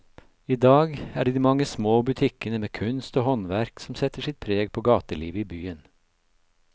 I dag er det de mange små butikkene med kunst og håndverk som setter sitt preg på gatelivet i byen.